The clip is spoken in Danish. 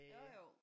Jo jo